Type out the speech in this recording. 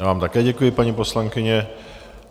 Já vám také děkuji, paní poslankyně.